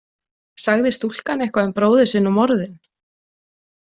Sagði stúlkan eitthvað um bróður sinn og morðin?